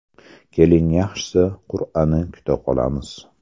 Keling, yaxshisi qur’ani kuta qolamiz.